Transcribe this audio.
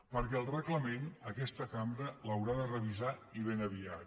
perquè el reglament aquesta cambra l’haurà de revisar i ben aviat